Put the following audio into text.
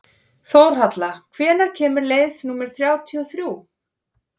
Þórhalla, hvenær kemur leið númer þrjátíu og þrjú?